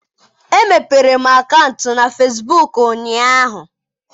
Emepere m akaụntụ na Fesbuk ụnyaahụ.